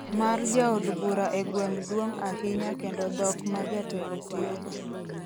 mar jaod bura e gweng' duong’ ahinya kendo dhok ma jatelo tiyogo